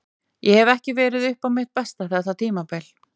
Ég hef ekki verið upp á mitt besta þetta tímabil.